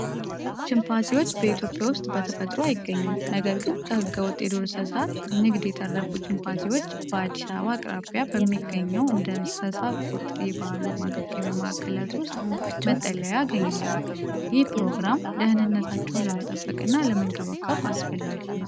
ቺምፓንዚዎች በኢትዮጵያ ውስጥ በተፈጥሮ አይገኙም። ነገር ግን፣ ከሕገወጥ የዱር እንስሳት ንግድ የተረፉ ቺምፓንዚዎች በአዲስ አበባ አቅራቢያ በሚገኘው እንደ እንሰሳቆጤባሉ ማገገሚያ ማዕከላት ውስጥ መጠለያ ያገኛሉ። ይህ ፕሮግራም ደህንነታቸውን ለመጠበቅና ለመንከባከብ አስፈላጊ ነው።